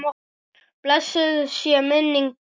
Blessuð sé minning Dúu.